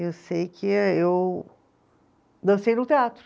Eu sei que eh eu dancei num teatro.